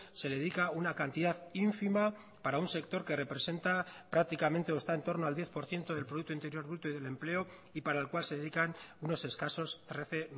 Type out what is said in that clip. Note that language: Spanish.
se dedica una cantidad ínfima para un sector que representa prácticamente o está en torno al diez por ciento del producto interior bruto y del empleo y para el cual se dedican unos escasos trece